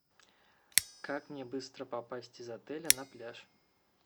как мне быстро попасть из отеля на пляж